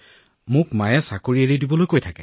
এতিয়া মোৰ মায়ে মোক এই চাকৰিটো এৰি দিবলৈ কৈছে